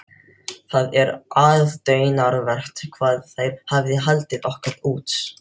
Það er aðdáunarvert hvað þær hafa haldið okkur út.